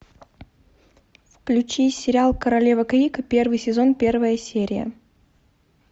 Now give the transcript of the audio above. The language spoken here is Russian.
включи сериал королева крика первый сезон первая серия